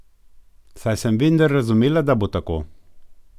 Saj sem vendar razumela, da bo tako.